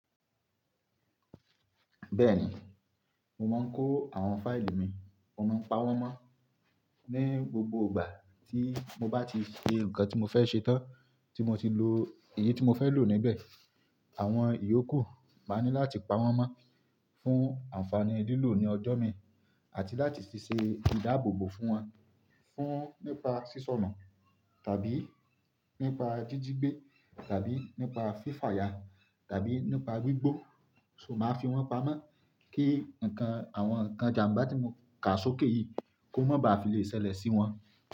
Bẹ́ẹ̀ni, mo máa ń kó àwọn fáìlì mi, mo máa ń pa wọ́n mọ́ ní gbogbo ìgbà tí mo bá ti ṣe nǹkan tí mo fẹ́ ṣe tán tí mo ti lo èyí tí mo fẹ́ lò níbẹ̀. Àwọn ìyókù máa ni láti pa wọ́n mọ́ fún ànfàní lílò ní ọjọ́ mi àti láti ṣe ìdáàbòbò fún wọn, fún nípa sísọ̀nà tàbí nípa jíjí gbé tàbí nípa fífaya tàbí nípa gbígbó. So màá fi wọ́n pamọ́ kí nǹkan, àwọn nǹkan ìjàmbá tí mo kà sókè yìí kó má ba à fi le ṣẹlẹ̀ sí wọn.